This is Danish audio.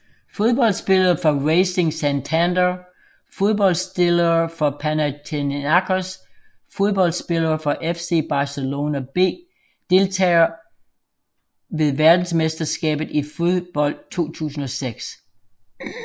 Fodboldspillere fra Racing Santander Fodboldspillere fra Panathinaikos Fodboldspillere fra FC Barcelona B Deltagere ved verdensmesterskabet i fodbold 2006